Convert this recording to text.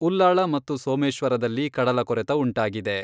ಉಲ್ಲಾಳ ಮತ್ತು ಸೋಮೇಶ್ವರದಲ್ಲಿ ಕಡಲ ಕೊರೆತ ಉಂಟಾಗಿದೆ.